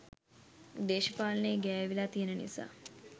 දේශපාලනේ ගෑවිලා තියන නිසා.